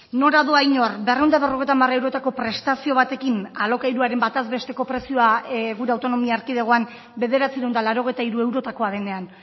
nora doa inor berrehun eta berrogeita hamar eurotako prestazio batekin alokairuaren bataz besteko prezioa gure autonomia erkidegoan bederatziehun eta laurogeita hiru eurotakoa denean